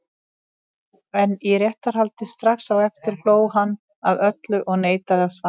En í réttarhaldi strax á eftir hló hann að öllu og neitaði að svara.